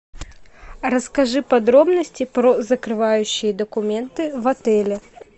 расскажи подробности про закрывающие документы в отеле